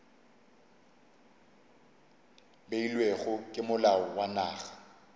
beilwego ke molao wa naga